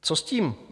Co s tím?